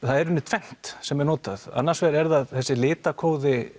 er í rauninni tvennt sem er notað annars vegar er það þessi